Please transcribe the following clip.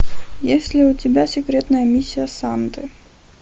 есть ли у тебя секретная миссия санты